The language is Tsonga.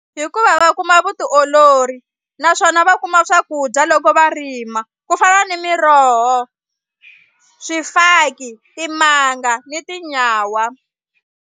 Hikuva va kuma vutiolori naswona va kuma swakudya loko va rima ku fana ni miroho swifaki timanga ni tinyawa.